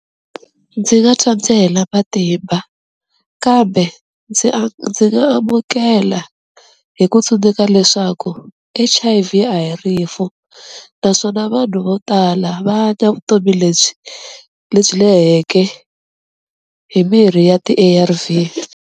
Ndzi nga twa ndzi hela matimba kambe ndzi ndzi nga amukela hi ku tsundzuka leswaku H_I_V a hi rifu, naswona vanhu vo tala va hanya vutomi lebyi lebyi leheke hi mirhi ya ti-A_R_V.